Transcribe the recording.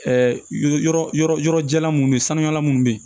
yɔrɔ yɔrɔ yɔrɔ yɔrɔ jala munnu ye sanuya munnu be yen